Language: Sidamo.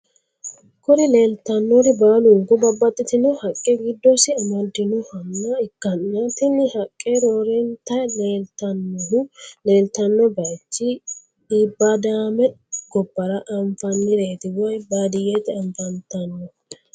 Kuri leleitanori baliniku babatitino haqqe gidosi amadinohanna ikana tini haqqe rorennita leleitanohu lilitano bayichi ibadamae gobara anifanireti woy badiyete afanitano